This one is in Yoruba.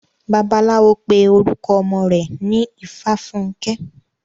Bàbáláwo pé orukọ ọmọ rẹ̀ ní Ifáfunkẹ́.